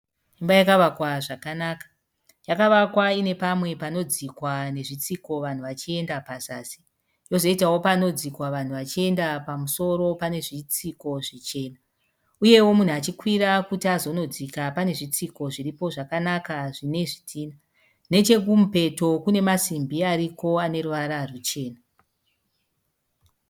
Imba yakavakwa zvakanaka. Yakavakwa iine pamwe pano dzikwa nezvitsiko vanhu vachiyenda pazasi. Pozoitawo panodzikwa vanhu vachienda pamusoro pane zvitsiko zvichena. Uyewo munhu achikwira kuti azonodzika, pane zvitsiko zviripo zvakanaka zvine zvidhina. Nechekumupeto kune masimbi ariko aneruvara ruchena.